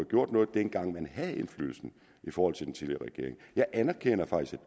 gjort noget dengang man havde indflydelse i forhold til den tidligere regering jeg anerkender faktisk